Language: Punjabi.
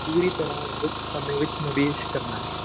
ਪੂਰੀ ਤਰ੍ਹਾਂ ਵਿੱਚ ਸਮੇਂ ਵਿੱਚ ਨਿਵੇਸ ਕਰਨਾ।